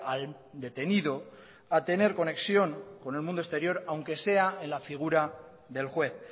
al detenido a tener conexión con el mundo exterior aunque sea en la figura del juez